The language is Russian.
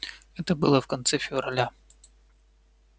это было в конце февраля